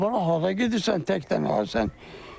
Ay bala hara gedirsən tək qalan sən?